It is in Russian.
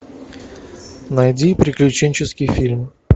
найди приключенческий фильм